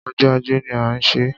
Ọjọ́ ajé ni a ṣé.